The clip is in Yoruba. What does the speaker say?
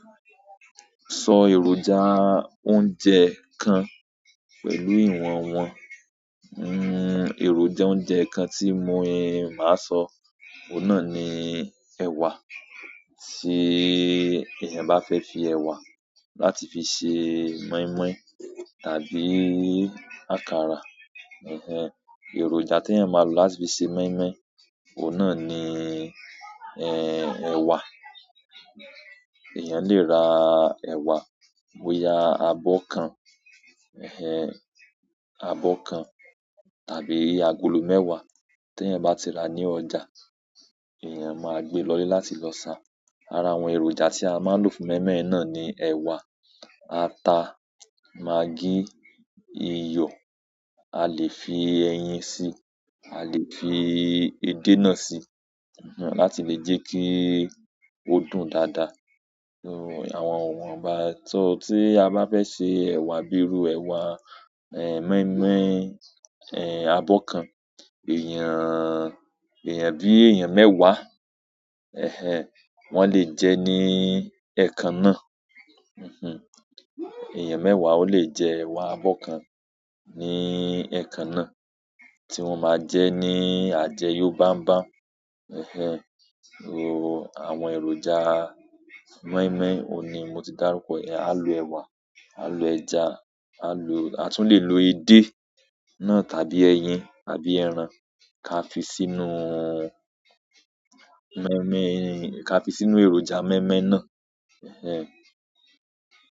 Sọ èròjà oúnjẹ kan pẹ̀lú ìwọ̀n wọn. Ero jẹun je nkan ti maa so, oun náà ni ewa sé èèyàn bá fẹ́ fi ẹ̀wà láti fi ṣe mọ́ímọ́í tàbí àkàrà. Èròjà tí èèyàn máa lò láti fi ṣe mọ́ímọ́í, òun náà ni, ẹ̀wà. Èèyàn le ra ẹ̀wà, bóya abọ́ kan, abọ́ kan tàbí agolo mẹ́wàá. Tí èèyàn bá ti rà ní ọjà, èèyàn máa gbé e lọlé láti lọ ṣà. Ara àwọn èròjà tí a máa ń lò fún mọ́ímọ́í náà ni ẹ̀wà, ata, magí, iyọ̀. A le fi eyin si, a le fi èdè náà si, láti le je ki o dùn dada iwọnbá so, tí a bá fẹ́ ṣe ẹ̀wà bíi irú ẹ̀wà mọ́ímọ́í, abọ́ kan. Èèyàn, èèyàn bí èèyàn mẹ́wàá, wọ́n lè jẹ́ ní ẹẹkan náà. Eeyàn mẹ́wàá o lè jẹ́ ẹ̀wà abọ́ kan ní ẹẹ̀kan náà, tí wọ́n máa jẹ́ ní àjẹ́yo bám bám. Àwọn èròjà mọ́ímọ́í òun ní mo ti dárúkọ. A lò ẹ̀wà, a lò ẹja, a tún le lo edé náà tàbí ẹyin tàbí ẹran ká fi sínú mọ́ímọ́í ká fi sínú èròjà mọ́ímọ́í náà.